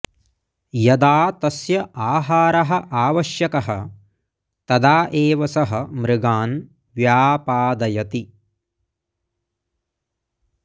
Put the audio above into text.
यदा तस्य आहारः आवश्यकः तदा एव सः मृगान् व्यापादयति